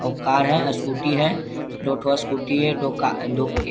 औउ car है scooty है। दो ठो स्कूटी है दो का दो के --